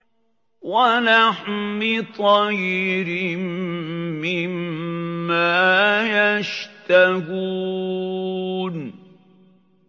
وَلَحْمِ طَيْرٍ مِّمَّا يَشْتَهُونَ